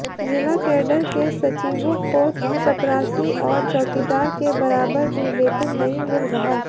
जिला कैडर के सचिवों को चपरासी और चौकीदार के बराबर भी वेतन नहीं मिल रहा